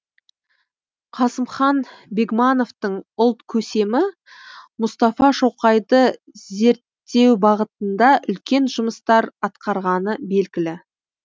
қасымхан бегмановтың ұлт көсемі мұстафа шоқайды зерттеубағытында үлкен жұмыстар атқарғаны белгілі